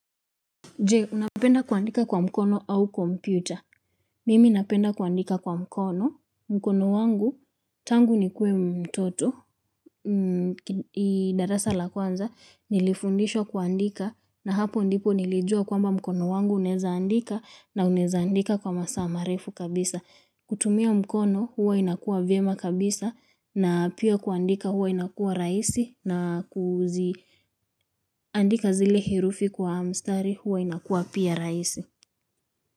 Je, unapenda kuandika kwa mkono au kompyuta. Mimi napenda kuandika kwa mkono. Mkono wangu, tangu nikuwe mtoto, darasa la kwanza, nilifundishwa kuandika na hapo ndipo nilijua kwamba mkono wangu unaeza andika na unaeza andika kwa masaa marefu kabisa. Kutumia mkono huwa inakua vyema kabisa na pia kuandika huwa inakua rahisi na kuziandika zile herufi kwa mstari huwa inakua pia rahisi.